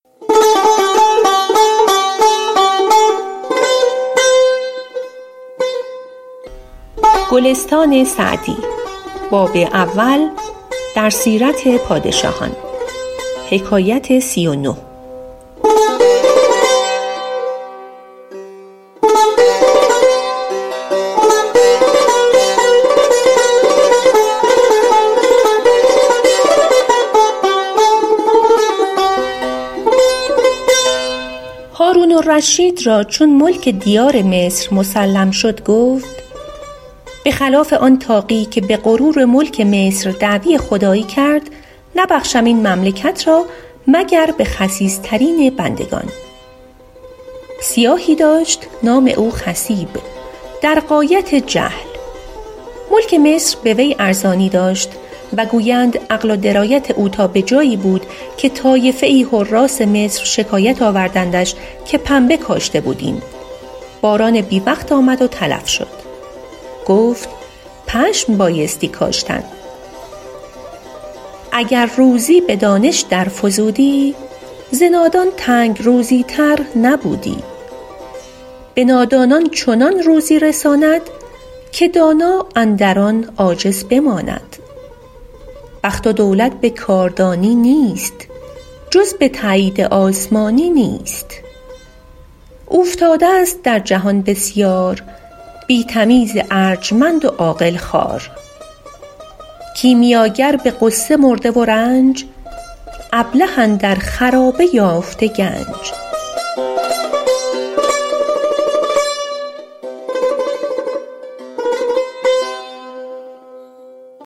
هارون الرشید را چون ملک دیار مصر مسلم شد گفت به خلاف آن طاغی که به غرور ملک مصر دعوی خدایی کرد نبخشم این مملکت را مگر به خسیس ترین بندگان سیاهی داشت نام او خصیب در غایت جهل ملک مصر به وی ارزانی داشت و گویند عقل و درایت او تا به جایی بود که طایفه ای حراث مصر شکایت آوردندش که پنبه کاشته بودیم باران بی وقت آمد و تلف شد گفت پشم بایستی کاشتن اگر دانش به روزی در فزودی ز نادان تنگ روزی تر نبودی به نادانان چنان روزی رساند که دانا اندر آن عاجز بماند بخت و دولت به کاردانی نیست جز به تأیید آسمانی نیست اوفتاده ست در جهان بسیار بی تمیز ارجمند و عاقل خوار کیمیاگر به غصه مرده و رنج ابله اندر خرابه یافته گنج